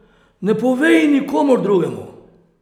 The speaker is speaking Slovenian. Ne povej nikomur drugemu!